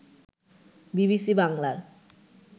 BBC বাংলার